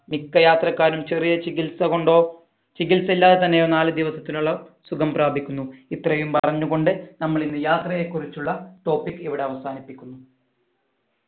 മിക്കയാത്രക്കാരും ചെറിയ ചികിത്സ കൊണ്ടോ ചികിത്സ ഇല്ലാതെ തന്നെയോ നാല് ദിവസത്തിനോളം സുഖം പ്രാപിക്കുന്നു ഇത്രയും പറഞ്ഞു കൊണ്ട് നമ്മൾ ഇന്ന് യാത്രയെ കുറിച്ചുള്ള topic ഇവിടെ അവസാനിപ്പിക്കുന്നു